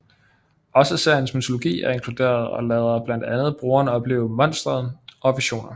Også seriens mytologi er inkluderet og lader blandt andet brugeren opleve Monsteret og visioner